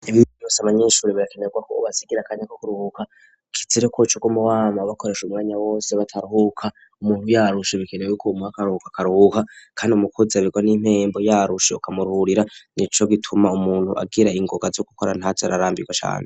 Emweyose abanyeshure birakenerwako uubasigira kanya ko kuruhuka kizireko co rw'umuwama bakoresha umwanya wose bataruhuka umuntu yarusha ibikenewe bikumuwa akaruka akaruka, kandi umukuzi abirwa n'impembu yarushe ukamururira ni co gituma umuntu agira ingoga zo gukora ntajo ararambirwa cane.